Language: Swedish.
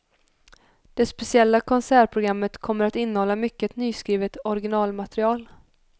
Det speciella konsertprogrammet kommer att innehålla mycket nyskrivet originalmaterial.